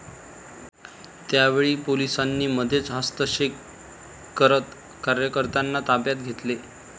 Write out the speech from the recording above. त्यावेळी पोलिसांनी मध्येच हस्तक्षेप करत कार्यकर्त्यांना ताब्यात घेतले.